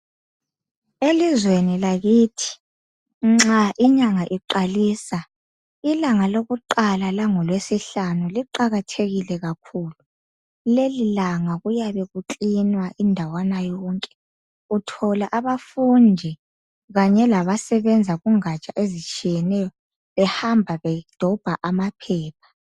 Elizweni lakithi nxa inyanga iqalisa llanga lokuqaka, kwangolweSihkanu, luqakatgekile kakhulu. Lelilanga kuyabe kuklinwa indawo zonke. Uthola abafundi labasebenza kungaja ezitshiyeneyo. Behamba bedobha amaphepha.